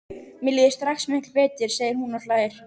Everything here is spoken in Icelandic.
Mér líður strax miklu betur, segir hún og hlær.